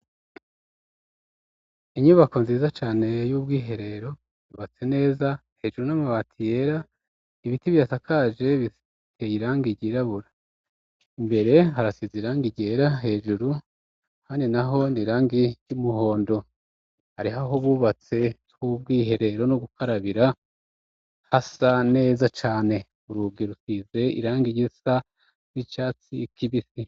Inyubako nziza cane y'ubwiherero, yubatse neza, hejuru ni amabati yera, ibiti bihasakaje biteye irangi ryirabura. Imbere harasize irangi ryera hejuru, ahandi na ho ni irangi ry'umuhondo. Hariho aho bubatse h'ubwiherero no gukarabira, hasa neza cane. Urugi rusizee irangi risa n'icatsi kibisi.